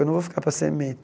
Eu não vou ficar para